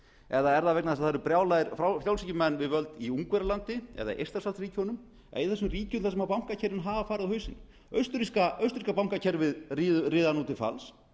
eða er það vegna þess að það eru brjálaðir frjálshyggjumenn við völd í ungverjalandi eða eystrasaltsríkjunum eða í þessum ríkjum þar sem bankakerfin hafa farið á hausinn austurríska bankakerfið riðar nú til falls